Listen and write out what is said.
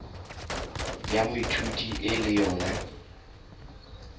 ya moithuti e le yona